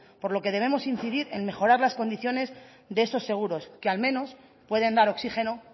por lo que debemos incidir en mejorar las condiciones de esos seguros que al menos pueden dar oxígeno